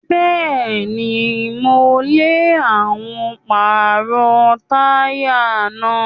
Bẹ́ẹ̀ni, mo lè àwọn pàrọ̀ táyà náà.